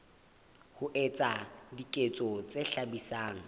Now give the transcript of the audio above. ho etsa diketso tse hlabisang